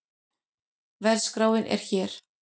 Verðskráin er hér